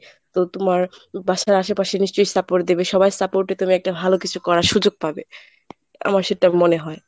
তো তুমার বাসার আশেপাশে নিশ্চয়ই support দেবে সবার support এ তুমি একটা ভালো কিছু করার সুযোগ পাবে আমার সেটা মনে হয়।